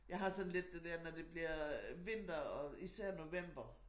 Jeg har sådan lidt det der når det bliver vinter og især november